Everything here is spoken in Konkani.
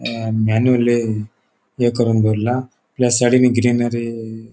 अ मॅनुयली ये करून दोरला प्लस सायडींन ग्रीनरी --